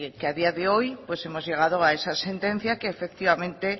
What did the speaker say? que a día de hoy pues hemos llegado a esa sentencia que efectivamente